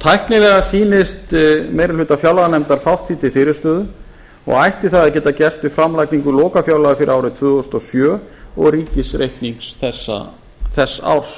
tæknilega sýnist meiri hluta fjárlaganefndar fátt því til fyrirstöðu og ætti það að geta gerst við framlagningu lokafjárlaga fyrir árið tvö þúsund og sjö og ríkisreikning þess árs